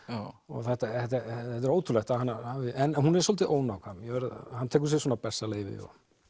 þetta er ótrúlegt en hún er svolítið ónákvæm hann tekur sér bessaleyfi